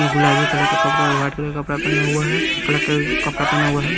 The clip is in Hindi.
गुलाबी कलर का कपड़ा और व्हाइट कलर का कपड़ा पहना हुआ है कपड़ा पहना हुआ है।